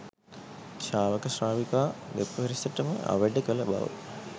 ශාවක ශ්‍රාවිකා දෙපිරිසටම අවැඩ කළ බව